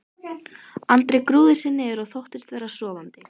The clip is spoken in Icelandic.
Andri grúfði sig niður og þóttist vera sofandi.